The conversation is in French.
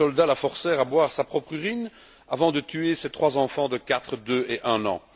Puis les soldats la forcèrent à boire sa propre urine avant de tuer ses trois enfants de quatre, deux et un an.